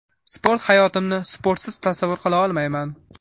Sport Hayotimni sportsiz tasavvur qila olmayman.